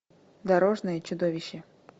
дорожное чудовище